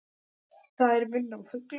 Þær minna á fugla.